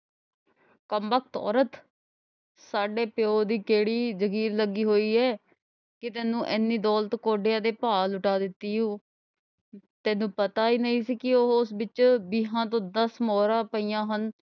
ਕਮਬਖ਼ਤ ਔਰਤ ਸਾਡੇ ਪਿਓ ਦੀ ਕਿਹੜੀ ਜਾਗੀਰ ਲੱਗੀ ਹੋਈ ਏ ਕਿ ਤੈਨੂੰ ਐਨੀ ਦੌਲਤ ਕੌਡੀਆਂ ਦੇ ਭਾਅ ਲੁਟਾ ਦਿੱਤੀ ਊ ਤੈਨੂੰ ਪਤਾ ਈ ਨਈਂ ਸੀ ਕਿ ਉਹ ਵਿਚੋਂ ਵੀਹਾਂ ਚੋਂ ਦਸ ਮੋਹਰਾਂ ਪਈਆਂ ਹਨ।